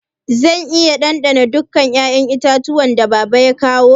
Zan iya dandana duka 'ya'yan itatuwan da baba ya kawu?